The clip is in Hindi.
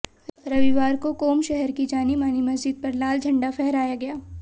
रविवार को कोम शहर की जानीमानी मस्जिद पर लाल झंडा फहराया गया